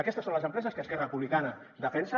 aquestes són les empreses que esquerra republicana defensa